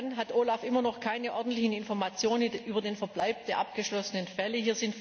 Dann hat OLAF immer noch keine ordentlichen Informationen über den Verbleib der abgeschlossenen Fälle.